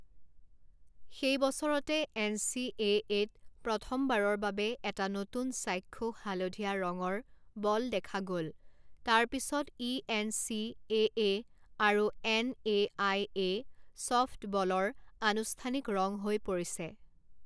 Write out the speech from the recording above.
সেই বছৰতে N C এ এত প্ৰথমবাৰৰ বাবে এটা নতুন চাক্ষুষ হালধীয়া ৰঙৰ বল দেখা গ'ল তাৰ পিছত ই এন চি এ এ আৰু এন এ আই এ ছফ্টবলৰ আনুষ্ঠানিক ৰং হৈ পৰিছে।